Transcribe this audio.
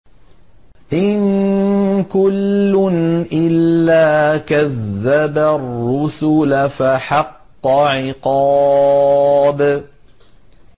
إِن كُلٌّ إِلَّا كَذَّبَ الرُّسُلَ فَحَقَّ عِقَابِ